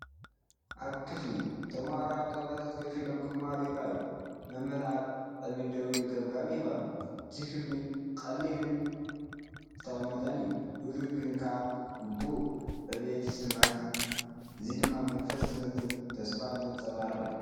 ኣብ ክፍሊ፡ ተማሃሮ ኣብ ጣውላታት ኮፍ ኢሎም ክመሃሩ ይረኣዩ። መምህር ኣብ ቅድሚት ደው ኢሉ ገምጋም ይህብ ኣሎ። እቲ ክፍሊ ቀሊልን ዝተቐመጠን እዩ። ህዱእ ግን ከኣ ግቡእ ዕብየት ይስመዓካ እዚ ድማ መንፈስ ትምህርትን ተስፋን ዘንጸባርቕ እዩ።